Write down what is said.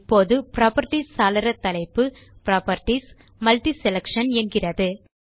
இப்போது புராப்பர்ட்டீஸ் சாளர தலைப்பு PropertiesMultiSelection என்கிறது